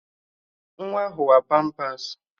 Nwa ahụ wa pampas